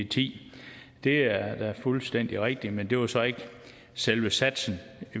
ti det er da fuldstændig rigtigt men det var så ikke selve satsen